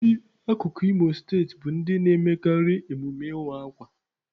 Ndị akụkụ Imo steeti bụ ndị na-emekarị emume ịwa akwa.